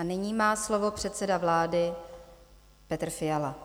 A nyní má slovo předseda vlády Petr Fiala.